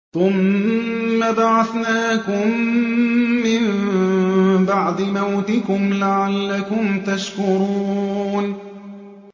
ثُمَّ بَعَثْنَاكُم مِّن بَعْدِ مَوْتِكُمْ لَعَلَّكُمْ تَشْكُرُونَ